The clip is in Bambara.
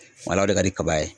o de ka di kaba ye.